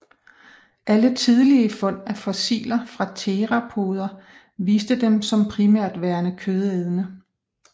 Alle tidlige fund af fossiler fra theropoder viste dem som primært værende kødædende